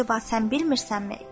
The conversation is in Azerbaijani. Əcəba sən bilmirsənmi?